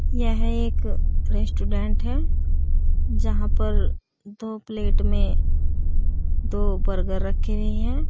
यह एक रेस्टोरेंट है जहां पर दो प्लेट में दो बर्गर रखे हुए हैं।